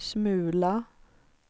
smula